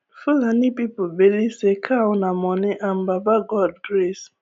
fulani people believe say cow nah money and baba god grace